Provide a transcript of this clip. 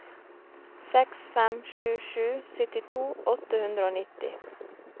seks fem sju sju syttito åtte hundre og nitti